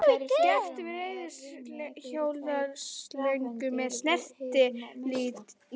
Gert við reiðhjólaslöngu með snertilími.